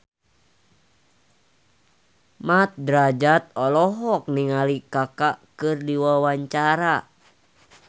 Mat Drajat olohok ningali Kaka keur diwawancara